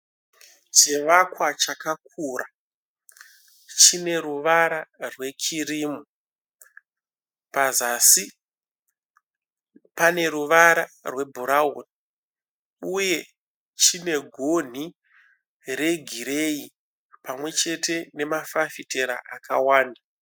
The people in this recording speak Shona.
Chivakwa chakakura chine ruvara rwekirimu. Pazasi pane ruvara rwebhurawuni uye chine gonhi regireyi pamwe chete nemafafitera akawanda.